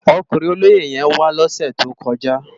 Òkúrin ólóyé yèn wá lòsè tókòjá